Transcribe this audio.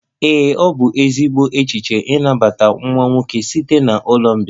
Ee, ọ bụ ezigbo echiche ịnabata nwa nwoke site na ụlọ mgbei